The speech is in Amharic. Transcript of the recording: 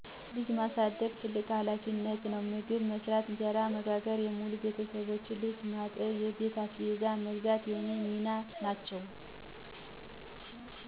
ልጅ ማሳደግ ትልቁ ሀላፊነቴ ነው። መግብ መስራት፣ እንጀራ መጋገር፣ የሙሉ ቤተሠቦቼን ልብስ ማጠብ፣ የቤት አስቤዛ መግዛት የኔ ሚና ናቸው።